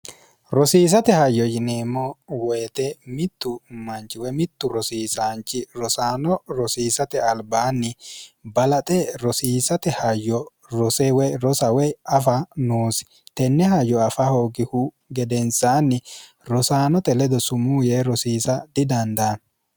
rosiisate hayyo yineemmo woyite mittu manchiwe mittu rosiisaanchi rosaano rosiisate albaanni balaxe rosiisate hayyo rosewe rosawey afa noosi tenne hayyo afa hoogihu gedensaanni rosaanote ledo sumuu yee rosiisa didanda